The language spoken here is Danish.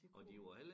Det kunne det